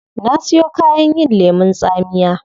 Na siyon kayan yin lemun tsamiya